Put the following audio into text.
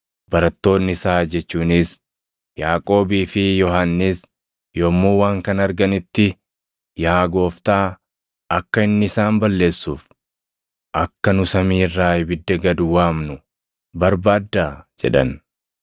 Barattoonni isaa jechuunis Yaaqoobii fi Yohannis yommuu waan kana arganitti, “Yaa Gooftaa, akka inni isaan balleessuuf, akka nu samii irraa ibidda gad waamnu barbaaddaa?” jedhan.